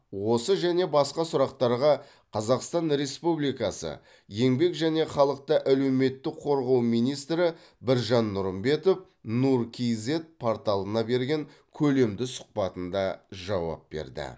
осы және басқа сұрақтарға қазақстан республикасы еңбек және халықты әлеуметтік қорғау министрі біржан нұрымбетов нұр кизед порталына берген көлемді сұхбатында жауап берді